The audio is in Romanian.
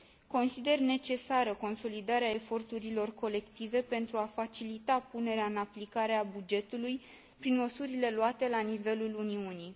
Consider necesară consolidarea eforturilor colective, pentru a facilita punerea în aplicare a bugetului prin măsurile luate la nivelul Uniunii.